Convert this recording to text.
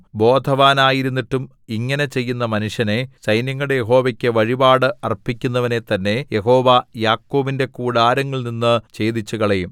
ബോധവാനായിരുന്നിട്ടും ഇങ്ങനെ ചെയ്യുന്ന മനുഷ്യനെ സൈന്യങ്ങളുടെ യഹോവയ്ക്കു വഴിപാട് അർപ്പിക്കുന്നവനെ തന്നെ യഹോവ യാക്കോബിന്റെ കൂടാരങ്ങളിൽനിന്നു ഛേദിച്ചുകളയും